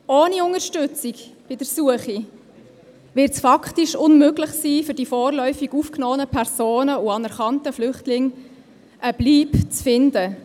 Ohne Unterstützung bei der Suche wird es für die vorläufig aufgenommenen Personen und anerkannten Flüchtlinge faktisch unmöglich sein, eine Bleibe zu finden.